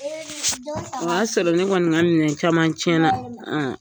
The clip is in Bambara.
O y'a sɔrɔ ne kɔni ka minɛn caman tiyɛn na